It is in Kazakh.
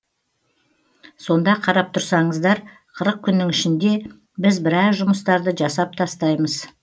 сонда қарап тұрсаңыздар қырық күннің ішінде біз біраз жұмыстарды жасап тастаймыз